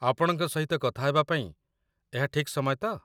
ଆପଣଙ୍କ ସହିତ କଥା ହେବା ପାଇଁ ଏହା ଠିକ୍ ସମୟ ତ?